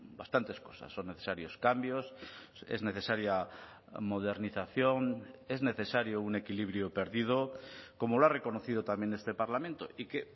bastantes cosas son necesarios cambios es necesaria modernización es necesario un equilibrio perdido como lo ha reconocido también este parlamento y que